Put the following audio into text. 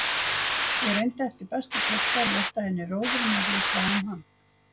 Ég reyndi eftir bestu getu að létta henni róðurinn með því að sjá um hann.